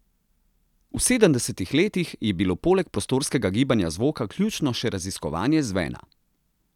V sedemdesetih letih je bilo poleg prostorskega gibanja zvoka ključno še raziskovanje zvena.